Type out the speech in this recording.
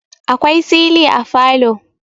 akwai sili a falo